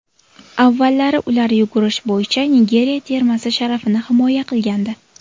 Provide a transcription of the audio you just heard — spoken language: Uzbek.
Avvallari ular yugurish bo‘yicha Nigeriya termasi sharafini himoya qilgandi.